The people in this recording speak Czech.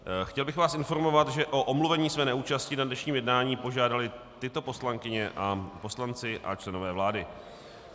Chtěl bych vás informovat, že o omluvení své neúčasti na dnešním jednání požádali tyto poslankyně a poslanci a členové vlády.